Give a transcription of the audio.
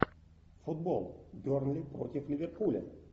футбол бернли против ливерпуля